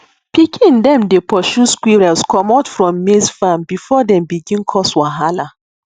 pikin dem dey pursue squirrels comot from maize farm before dem begin cause wahala